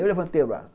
Eu levantei o braço.